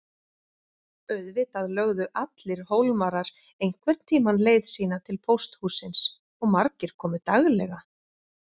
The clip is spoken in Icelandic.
Auðvitað lögðu allir Hólmarar einhvern tímann leið sína til pósthússins og margir komu daglega.